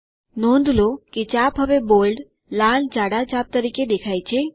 નોંધ લો કે ચાપ હવે બોલ્ડ લાલ જાડા ચાપ તરીકે દેખાય છે